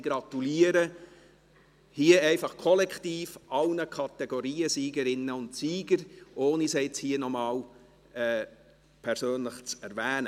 Ich gratuliere hier kollektiv allen Kategoriensiegerinnen und -siegern, ohne sie hier nochmals persönlich zu erwähnen.